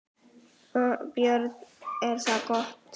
Björn: Er það gott?